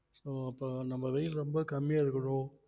so அப்ப நம்ம வெயில் ரொம்ப கம்மியா இருக்கிறோம்